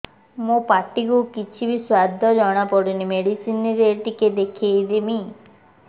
ମୋ ପାଟି କୁ କିଛି ସୁଆଦ ଜଣାପଡ଼ୁନି ମେଡିସିନ ରେ ଟିକେ ଦେଖେଇମି